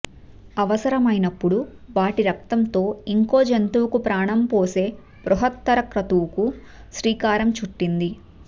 అవసరమైనప్పుడు వాటి రక్తంతో ఇంకో జంతువుకు ప్రాణం పోసే బృహత్తర క్రతువుకు శ్రీకారం చుట్టింది